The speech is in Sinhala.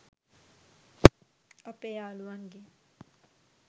අපේ යාළුවන්ගෙන්.